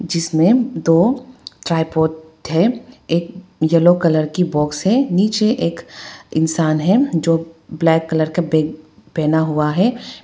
जिसमे दो ट्राइपॉड है एक यलो कलर की बॉक्स है नीचे एक इंसान है जो ब्लैक कलर का बैग पहना हुआ है।